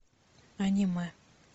аниме